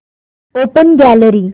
open gallery